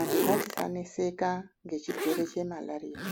Andu ngatisaneseka ngechirwere chemalariya.